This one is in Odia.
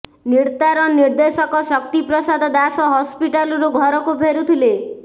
ନିର୍ତାର ନିର୍ଦ୍ଦେଶକ ଶକ୍ତି ପ୍ରସାଦ ଦାସ ହସ୍ପିଟାଲ୍ରୁ ଘରକୁ ଫେରୁଥିଲେ